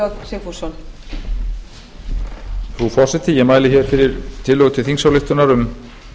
frú forseti ég mæli hér fyrir tillögu til þingsályktunar um